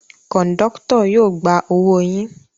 Kọ̀ńdọ́tọ̀ yóò gba owó yín.